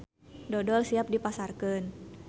Dodol siap dipasarkeun.